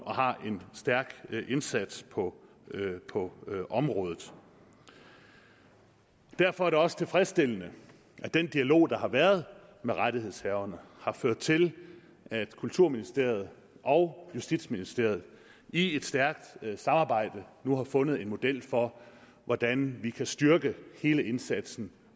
og har en stærk indsats på området derfor er det også tilfredsstillende at den dialog der har været med rettighedshaverne har ført til at kulturministeriet og justitsministeriet i et stærkt samarbejde nu har fundet en model for hvordan vi kan styrke hele indsatsen